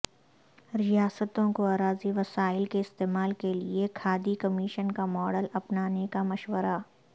ریاستوں کو اراضی وسائل کے استعمال کیلئے کھادی کمیشن کا ماڈل اپنانے کا مشورہ